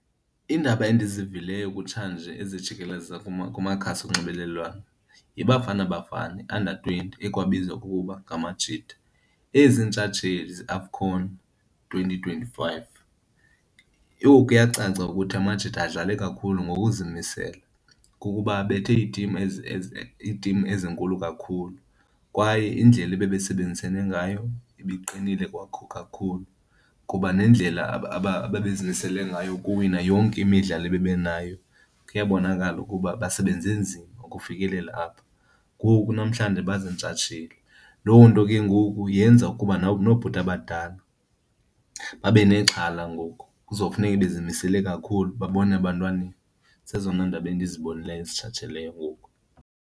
Iindaba endizivileyo kutshanje ezijikeleza kumakhasi onxibelelwano yiBafana Bafana under twenty ekwabizwa kukuba ngamaJita ezintshatsheli zeAFCON twenty twenty-five. Yho, kuyacaca ukuthi AmaJita adlale kakhulu ngokuzimisela kukuba abethe iitimu iitimu ezinkulu kakhulu kwaye indlela ebebesebenzisene ngayo ibiqinile kwakho kakhulu. Kuba nendlela ababezimisele ngayo ukuwinwa yonke imidlalo ebebenayo, kuyabonakala ukuba basebenze nzima ukufikelela apha ngoku namhlanje bazintshatsheli. Loo nto ke ngoku yenza ukuba noobhuti abadala babe nexhala ngoku, kuzofuneka bezimisele kakhulu babone ebantwaneni. Zezona ndaba endizibonileyo ngoku.